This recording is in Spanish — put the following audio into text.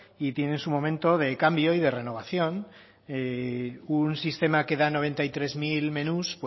y tiene su momento de cambio y de renovación un sistema que da noventa y tres mil menús